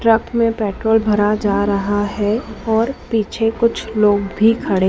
truck में petrol भरा जा रहा है और पीछे कुछ लोग भी खड़े--